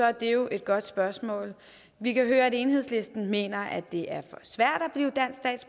er jo et godt spørgsmål vi kan høre at enhedslisten mener at det er